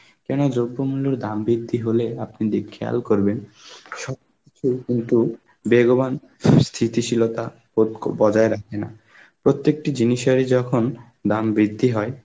কেন দ্রব্যমূল্যর দাম বৃদ্ধি হলে আপনি দেখ~ খেয়াল করবেন সবকিছুই কিন্তু বেগবান, সু~ স্মৃতিশীলতা পক্ষ বজায় রাখে না. প্রত্যেকটি জিনিসেরই যখন দাম বৃদ্ধি হয়